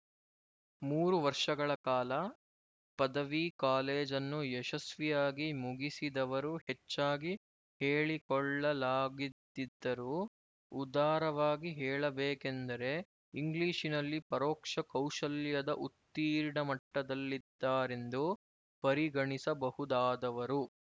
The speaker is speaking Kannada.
ಮೂರು ವರ್ಷಗಳ ಕಾಲ ಪದವಿ ಕಾಲೇಜನ್ನು ಯಶಸ್ವಿಯಾಗಿ ಮುಗಿಸಿದವರು ಹೆಚ್ಚಾಗಿ ಹೇಳಿಕೊಳ್ಳಲಾಗಿದಿದ್ದರೂ ಉದಾರವಾಗಿ ಹೇಳಬೇಕೆಂದರೆ ಇಂಗ್ಲಿಶಿನಲ್ಲಿ ಪರೋಕ್ಷ ಕೌಶಲ್ಯದ ಉತ್ತೀರ್ಣ ಮಟ್ಟದಲ್ಲಿದ್ದಾರೆಂದು ಪರಿಗಣಿಸಬಹುದಾದವರು